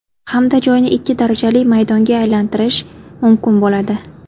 Hamda joyni ikki darajali maydonga aylantirish mumkin bo‘ladi.